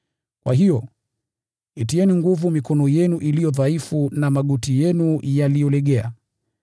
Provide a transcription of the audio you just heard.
Kwa hiyo, itieni nguvu mikono yenu iliyo dhaifu na magoti yenu yaliyolegea.